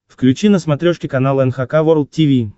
включи на смотрешке канал эн эйч кей волд ти ви